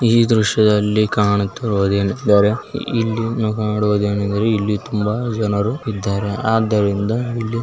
ಈ ದೃಶ್ಯದಲ್ಲಿ ಕಾಣುತ್ತಿರುವುದು ಏನು ಅಂದರೆ ಎಲ್ಲಿ ಕಾಣುವುದೇನೆಂದರೆ ಇಲ್ಲಿ ತುಂಬಾ ಜನರು ಇದ್ದಾರೆ ಆದ್ದರಿಂದ ಇಲ್ಲಿ --